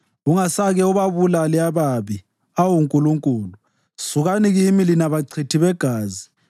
Ungasake ubabulale ababi, awu Nkulunkulu! Sukani kimi lina bachithi begazi!